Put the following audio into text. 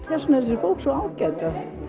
þess vegna er þessi bók svo ágæt